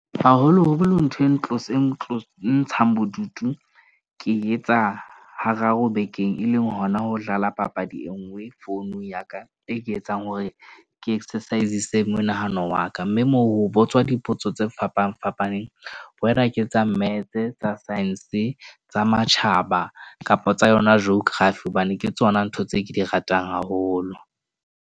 Haholo holo, ntho e ntlosang ntlo, e ntshang bodutu, ke etsa hararo bekeng e leng hona ho dlala papadi. e nngwe founung ya ka. E ke e etsang hore ke exercise-sitse monahano wa ka. Mme moo ho botswa dipotso tse fapafapaneng, whether ke tsa metse tsa science tsa matjhaba kapa tsa yona geography. Hobane ke tsona ntho tse ke di ratang haholo.